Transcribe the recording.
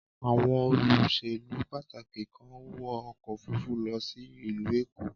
Àwọn olóṣèlú pàtàkì kan wọ ọkọ̀ òfúrufú lọ sí ìlú Èkó.